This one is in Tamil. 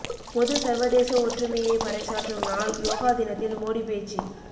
பொது சர்வதேச ஒற்றுமையை பறைசாற்றும் நாள் யோகா தினத்தில் மோடி பேச்சு